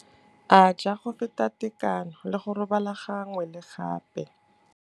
A ja go feta tekano le go robala gangwe le gape.